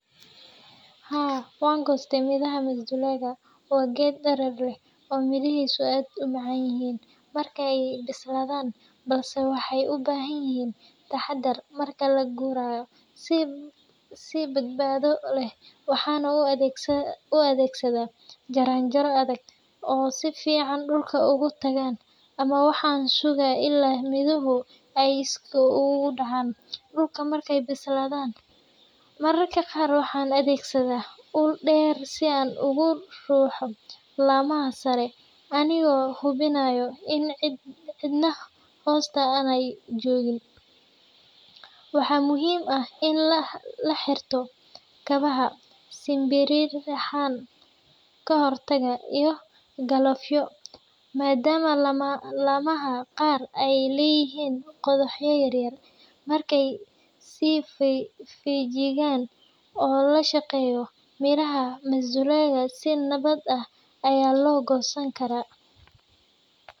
Haa, waan goostay midhaha masdulaagga. Waa geed dherer leh oo midhihiisu aad u macaan yihiin marka ay bislaadaan, balse waxay u baahan yihiin taxaddar marka la gurayo. Si badbaado leh waxaan u adeegsadaa jaranjaro adag oo si fiican dhulka ugu taagan, ama waxaan sugaa ilaa midhuhu ay iskii uga dhacaan dhulka markay bislaadaan. Mararka qaar waxaan adeegsadaa ul dheer si aan uga ruxo laamaha sare, anigoo hubinaya in cidna hoosta aanay joogin. Waxaa muhiim ah in la xirto kabaha simbiriirixan ka hortaga, iyo galoofyo, maadaama laamaha qaar ay leeyihiin qodxo yaryar. Marka si feejigan loo shaqeeyo, midhaha masdulaagga si nabad ah ayaa loo goosan karaa.